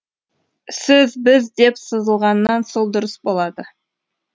сіз біз деп сызылғаннан сол дұрыс болады